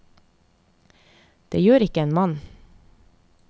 Det gjør ikke en mann?